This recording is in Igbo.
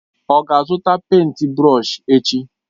Ọ ga-azụta pèịnt brọsh echi?